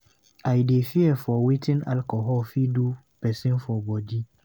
I dey fear for wetin alcohol fit do pesin for bodi.